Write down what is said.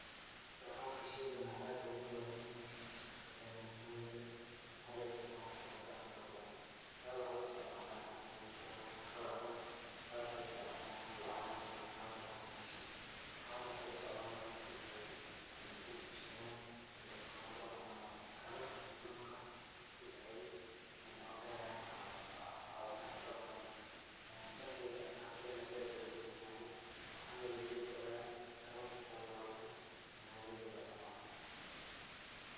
Istacmaalkan shaygan aad ugu badan dhanka xaafidaheena. Maxaa yeelay, waxaa loo istacmaali karaa dhan farabadan. Qaar waxay u istacmaalaan in ay telefoono ka wacdaan, qaar waxay u istacmaalaan in lacaga hooda kala bahaan meeshan. Qaar waxay u istacmaalaan si ay ay u iibsidaan telefoonada ama kaararka siimamka si ay u helaan cafimaad farabadan. Dankeya haafadeena zaaid ayaa ugu badanyahay waxaana laga heli karaa tobon ila labaatan magaaladiiba ama..